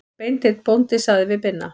Beinteinn bóndi sagði við Binna